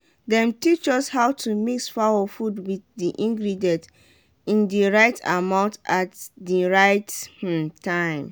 dem teach us how to mix fowl food wit di ingredient in di right amount at di right um time.